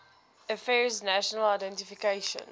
affairs national identification